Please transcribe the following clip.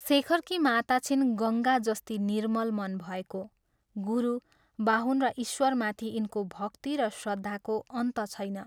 शेखरकी माता छिन् गङ्गा जस्ती निर्मल मन भएको गुरु, बाहुन र ईश्वरमाथि यिनको भक्ति र श्रद्धाको अन्त छैन।